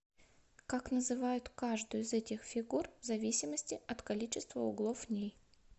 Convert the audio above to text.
как называют каждую из этих фигур в зависимости от количество углов в ней